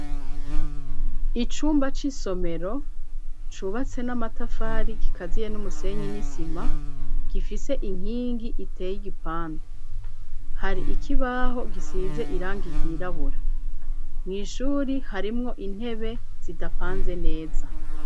Icumba c'isomero, cubatse n'amatafari, gikaziye n'umusenyi, n'isima; gifise inkingi, iteye igipande; hari ikibaho, gisize irangi ryirabura; mw'ishuri, harimwo intebe, zidapanze neza.